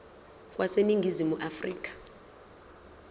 wase ningizimu afrika